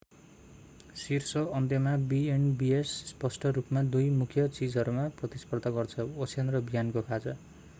शीर्ष अन्त्यमा B and Bs स्पष्ट रूपमा दुई मुख्य चीजहरूमा प्रतिस्पर्धा गर्छ ओछ्यान र बिहानको खाजा